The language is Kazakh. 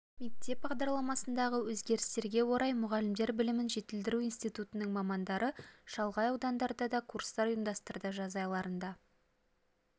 мектеп бағдарламасындағы өзгерістерге орай мұғалімдер білімін жетілдіру институтының мамандары шалғай аудандарда да курстар ұйымдастырды жаз айларында